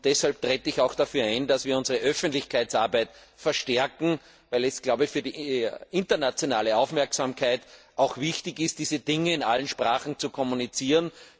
Deshalb trete ich auch dafür ein, dass wir unsere Öffentlichkeitsarbeit verstärken, weil es für die internationale Aufmerksamkeit auch wichtig ist, diese Dinge in allen Sprachen zu kommunizieren.